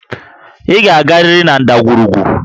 Ị ga-agarịrị na ndagwurugwu!